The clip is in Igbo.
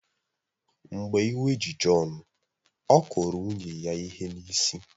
Mgbe iwe ji Jọn, ọ kụrụ nwunye ya ihe n’isi